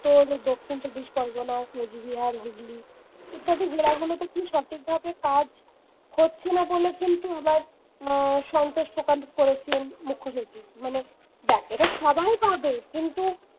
তোর দক্ষিণ চব্বিশ পরগনা, কোচবিহার, হুগলী প্রত্যেকটি জেলাগুলিতে সঠিকভাবে কাজ হচ্ছে না বলে কিন্তু আবার সন্তোষ প্রকাশ করেছেন মুখ্য সচিব মানে দেখ এটা সবাই পাবে কিন্তু